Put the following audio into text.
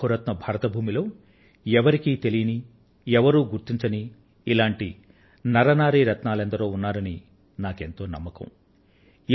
మన బహు రత్న భరత భూమిలో ఎవరికీ తెలియని ఎవరూ గుర్తించని ఇలాంటి నర రత్నాలునారీ రత్నాలు ఎందరో ఉన్నారని నాకు ఎంతో నమ్మకం